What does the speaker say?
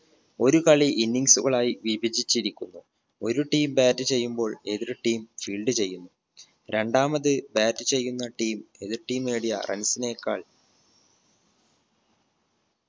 ഒരു കളി innings ഉകളായി വീതിച്ചിരിക്കുന്നു ഒരു team bat ചെയ്യുമ്പോൾ എതിർ team field ചെയ്യുന്നു രണ്ടാമത് bat ചെയ്യുന്ന team എതിർ team നേടിയ runs നേക്കാൾ